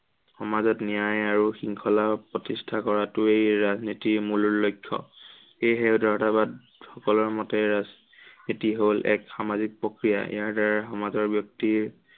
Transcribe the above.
সমাজত ন্য়ায় আৰু শৃংখলা প্ৰতিষ্ঠা কৰাটোৱেই ৰাজনীতিৰ মূল লক্ষ্য়। সেয়েহে সকলৰ মতে এটি হল এক সামাজিক প্ৰক্ৰিয়া। ইয়াৰ দ্বাৰা সমাজৰ ব্য়ক্তি